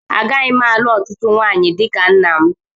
Agaghị m alụ ọtụtụ nwunye dị ka nna m.